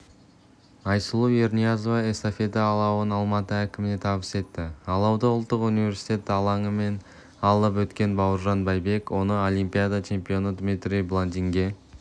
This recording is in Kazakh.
айсұлу ерниязова эстафета алауын алматы әкіміне табыс етті алауды ұлттық университет алаңымен алып өткен бауыржан байбек оны олимпиада чемпионы дмитрий баландинге